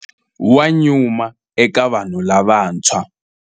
Wa nyuma eka vanhu lavantshwa.